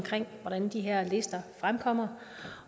hvordan de her lister fremkommer